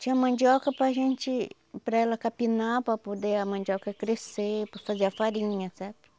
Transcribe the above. Tinha mandioca para a gente, para ela capinar, para poder a mandioca crescer, para fazer a farinha, sabe?